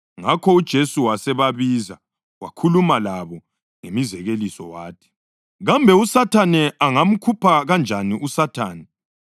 Ngakho uJesu wasebabiza wakhuluma labo ngemizekeliso wathi, “Kambe uSathane angamkhupha kanjani uSathane?